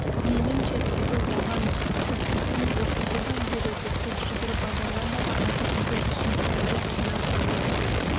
мейлінше тызылдаған пысық бекей оқуды да үлгереді зыр жүгіріп базарға да барады үйдің ішін сыпырып жинап қояды